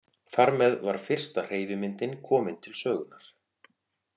Þar með var fyrsta hreyfimyndin komin til sögunnar.